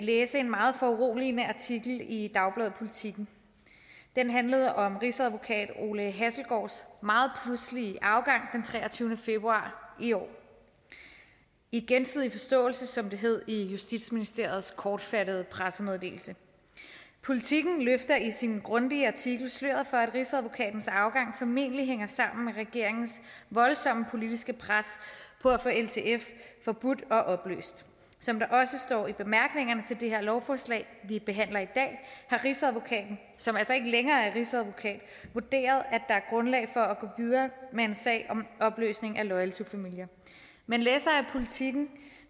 læse en meget foruroligende artikel i dagbladet politiken den handlede om rigsadvokat ole hasselgaards meget pludselige afgang den treogtyvende februar i år i gensidig forståelse som det hed i justitsministeriets kortfattede pressemeddelelse politiken løfter i sin grundige artikel sløret for at rigsadvokatens afgang formentlig hænger sammen med regeringens voldsomme politiske pres for at få ltf forbudt og opløst som der også står i bemærkningerne til det her lovforslag vi behandler i dag har rigsadvokaten som altså ikke længere er rigsadvokat vurderet at der er grundlag for at gå videre med en sag om opløsning af loyal to familia men læsere af politiken